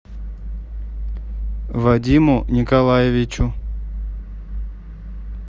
вадиму николаевичу